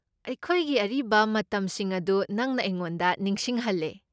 ꯑꯩꯈꯣꯏꯒꯤ ꯑꯔꯤꯕ ꯃꯇꯝꯁꯤꯡ ꯑꯗꯨ ꯅꯪꯅ ꯑꯩꯉꯣꯟꯗ ꯅꯤꯡꯁꯤꯡꯍꯜꯂꯦ꯫